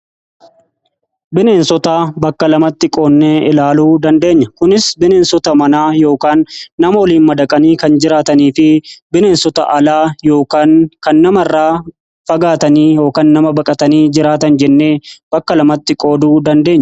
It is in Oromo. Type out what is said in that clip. Bineensota bakka lamatti qoodnee ilaaluu dandeenya kunis bineensota manaa yookaan nama oliin madaqanii kan jiraatanii fi bineensota alaa kan nama irra fagaatanii yookiin nama baqatanii jiraatan jennee bakka lamatti qooduu dandeenya.